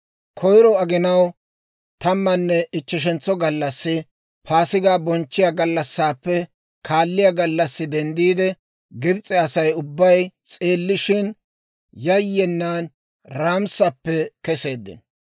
Koyro aginaw tammanne ichcheshentso gallassi, Paasigaa bonchchiyaa gallassaappe kaalliyaa gallassi denddiide, Gibs'e Asay ubbay s'eellishin, yayyenan Raamisappe keseeddino.